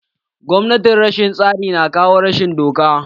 Gwamnatin rashin tsari na kawo rashin doka.